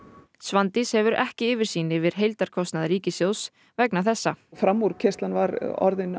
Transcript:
Svandís hefur ekki yfirsýn yfir heildarkostnað ríkissjóðs vegna þessa framúrkeyrslan var orðin